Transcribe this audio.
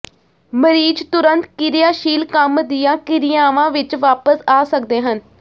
ਮਰੀਜ਼ ਤੁਰੰਤ ਕਿਰਿਆਸ਼ੀਲ ਕੰਮ ਦੀਆਂ ਕਿਰਿਆਵਾਂ ਵਿੱਚ ਵਾਪਸ ਆ ਸਕਦੇ ਹਨ